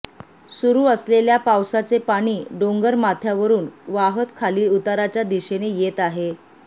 सुरू असलेल्या पावसाचे पाणी डोंगरमाथ्यावरुन वाहत खाली उताराच्या दिशेने येत आहे